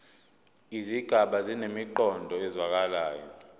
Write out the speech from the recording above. izigaba zinemiqondo ezwakalayo